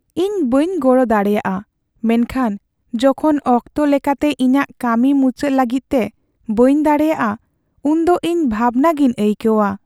ᱤᱧ ᱵᱟᱹᱧ ᱜᱚᱲᱚ ᱫᱟᱲᱮᱭᱟᱜᱼᱟ ᱢᱮᱱᱠᱷᱟᱱ ᱡᱚᱠᱷᱚᱱ ᱚᱠᱛᱚ ᱞᱮᱠᱟᱛᱮ ᱤᱧᱟᱹᱜ ᱠᱟᱹᱢᱤ ᱢᱩᱪᱟᱹᱫ ᱞᱟᱹᱜᱤᱫ ᱛᱮ ᱵᱟᱹᱧ ᱫᱟᱲᱮᱹᱭᱟᱜᱼᱟ, ᱩᱱ ᱫᱚ ᱤᱧ ᱵᱷᱟᱵᱽᱱᱟᱜᱤᱧ ᱟᱹᱭᱠᱟᱹᱣᱟ ᱾